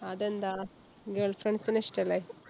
അതെന്താ girlfriends നെ ഇഷ്ടം അല്ലെ?